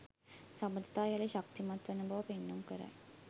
සබඳතා යළි ශක්තිමත් වන බව පෙන්නුම් කරයි